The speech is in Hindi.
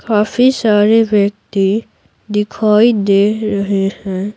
काफी सारे व्यक्ति दिखाई दे रहे हैं।